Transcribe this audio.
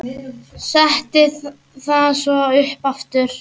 Setti það svo upp aftur.